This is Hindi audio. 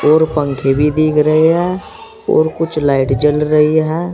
और पंखे भी दिख रहे हैं और कुछ लाइट जल रही है।